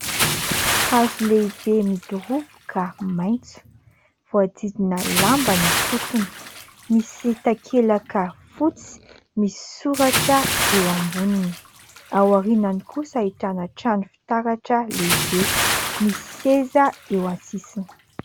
Hazo lehibe midoroboka maitso, voadididna lamba ny fotony. Misy takelaka fotsy misy soratra eo amboniny. Ao aorinany kosa ahitana trano fitaratra lehibe. Misy seza eo an-tsisiny.